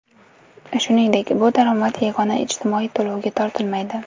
Shuningdek, bu daromad yagona ijtimoiy to‘lovga tortilmaydi.